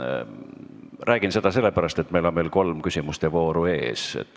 Räägin seda sellepärast, et meil on veel kolm küsimuste vooru ees.